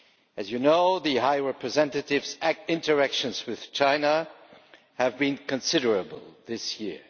As you know, the High Representative's interactions with China have been considerable this year.